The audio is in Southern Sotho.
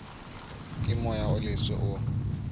ke moya o leswe o